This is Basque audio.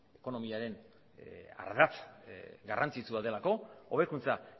gure ekonomiaren ardatz garrantzitsua delako hobekuntza